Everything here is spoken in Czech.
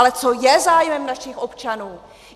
Ale co je zájem našich občanů?